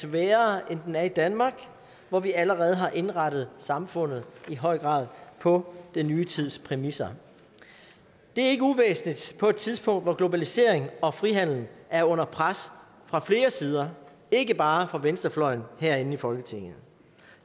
sværere end den er i danmark hvor vi allerede har indrettet samfundet i høj grad på den nye tids præmisser det er ikke uvæsentligt på et tidspunkt hvor globalisering og frihandel er under pres fra flere sider ikke bare fra venstrefløjen herinde i folketinget